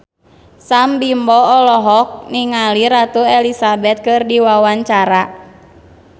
Sam Bimbo olohok ningali Ratu Elizabeth keur diwawancara